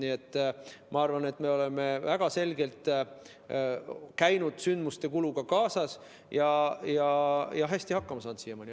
Nii et ma arvan, et me oleme väga selgelt käinud sündmuste kuluga kaasas ja siiamaani hästi hakkama saanud.